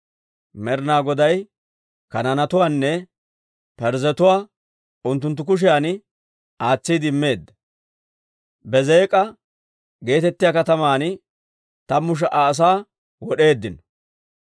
Med'inaa Goday Kanaanetuwaanne Parzzetuwaa unttunttu kushiyan aatsiide immeedda; Bezeek'a geetettiyaa kataman tammu sha"a asaa wod'eeddino.